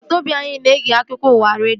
Agbata obi anyị na-ege akụkọ ụwa redio